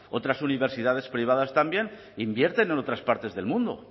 otras universidades privadas también invierten en otras partes del mundo